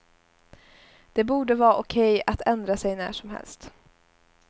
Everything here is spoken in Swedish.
Det borde vara okej att ändra sig när som helst.